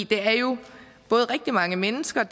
det er jo rigtig mange mennesker